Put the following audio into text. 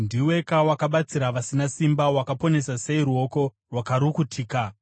“Ndiweka wakabatsira vasina simba! Wakaponesa sei ruoko rwakarukutika!